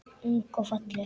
Ung og falleg.